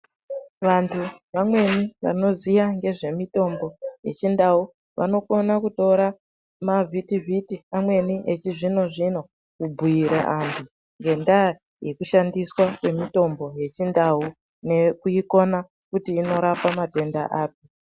Vantu vamweni vanoziya ngezve mitombo yechindau vanokona kutora mavhitivhiti amweni echizvino zvino kubhuyira antu ngendaya yekushandiswa kwemitombo yechindau nekuikona kuti inorapa matenda api .